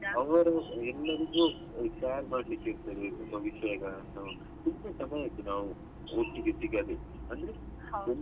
ಅವರು ಎಲ್ಲರಿಗೂ tag ಮಾಡ್ಲಿಕ್ಕೆ ಇರ್ತದೆ ತುಂಬಾ ವಿಷಯಗಳನ್ನು ತುಂಬಾ ಸಮಯ ಆಯ್ತು ನಾವು ಒಟ್ಟಿಗೆ ಸಿಗದೇ ಅಂದ್ರೆ .